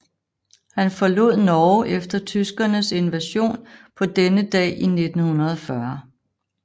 Han forlod Norge efter tyskernes invasion på denne dag i 1940